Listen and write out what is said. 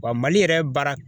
Wa Mali yɛrɛ baara